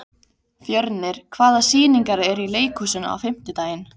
Fjörnir, hvaða sýningar eru í leikhúsinu á fimmtudaginn?